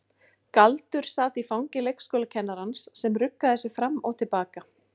Galdur sat í fangi leikskólakennarans sem ruggaði sér fram og til baka.